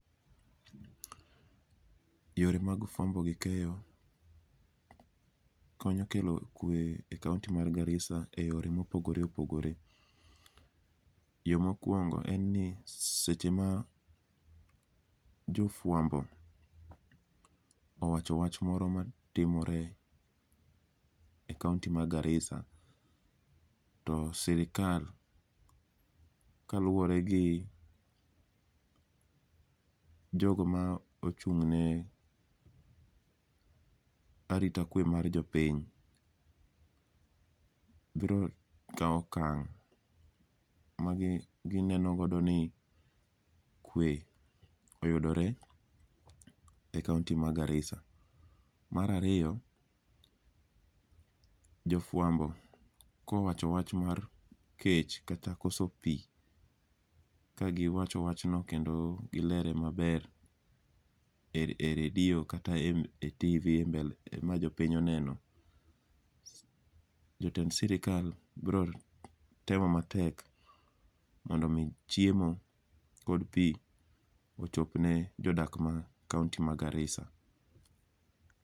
Yore mag fwambo gi keyo konyo kelo kwe e kaonti ma Garissa e yore mopogore opogore. Yo mokwongo en ni seche ma jofwambo owacho wach moro ma timore e kaonti ma Garissa. To sirikal kaluwore gi jogo ma ochung' ne arita kwe mar jopiny, biro kawo okang' ma gi neno godo ni kwe oyudore e kaonti ma Garissa, Marariyo, jofwambo kowacho wach mar kech kata koso pi, ka giwacho wachno kendo gilere maber e redio kata e TV e mbele ma jopiny oneno. Jotend sirikal bro temo matek mondo mi chiemokod pi ochopne jodak ma kaonti ma Garissa.